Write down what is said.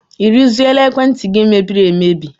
I rụziela ekwentị gị mebiri emebi?